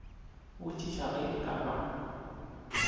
botšiša ge e ka ba